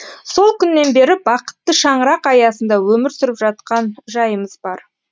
сол күннен бері бақытты шаңырақ аясында өмір сүріп жатқан жайымыз бар